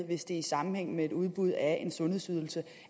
hvis det er i sammenhæng med et udbud af en sundhedsydelse